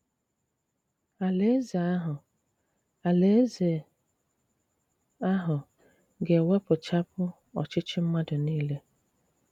Àlàèzè àhụ Àlàèzè àhụ ga-ewèpụchàpụ òchìchì mmàdù niile.